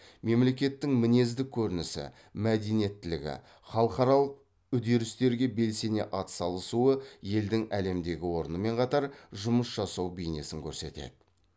мемлекеттің мінездік көрінісі мәдениетілігі халықаралық үдерістерге белсене ат салысуы елдің әлемдегі орнымен қатар жұмыс жасау бейнесін көрсетеді